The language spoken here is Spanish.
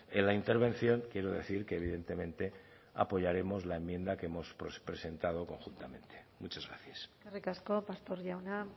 en la intervención quiero decir que evidentemente apoyaremos la enmienda que hemos presentado conjuntamente muchas gracias eskerrik asko pastor jauna